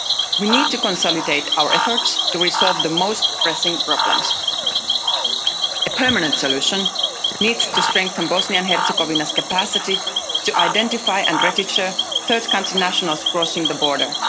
We need to consolidate our efforts to resolve the most pressing problems. A permanent solution needs to strengthen Bosnia and Herzegovina's capacity to identify and register third country nationals crossing the border.